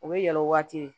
U bɛ yɛlɛ o waati